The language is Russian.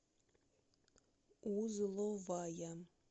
узловая